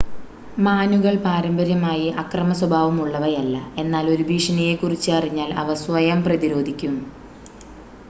മാനുകൾ പാരമ്പര്യമായി അക്രമ സ്വഭാവം ഉള്ളവയല്ല എന്നാൽ ഒരു ഭീഷണിയെക്കുറിച്ച് അറിഞ്ഞാൽ അവ സ്വയം പ്രതിരോധിക്കും